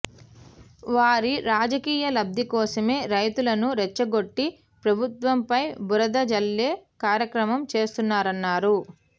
వారి రాజకీయ లబ్ధి కోసమే రైతులను రెచ్చగొట్టి ప్రభుత్వంపై బురద జల్లే కార్యక్రమం చేస్తున్నారన్నారు